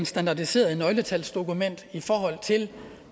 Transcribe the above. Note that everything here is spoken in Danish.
standardiseret nøgletalsdokument i forhold til